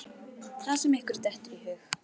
Það sem ykkur dettur í hug!